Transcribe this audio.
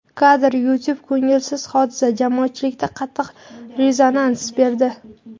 Kadr: YouTube Ko‘ngilsiz hodisa jamoatchilikda qattiq rezonans berdi.